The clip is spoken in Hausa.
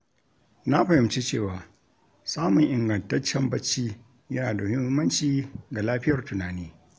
Na fahimci cewa samun ingantaccen bacci yana da muhimmanci ga lafiyar tunani.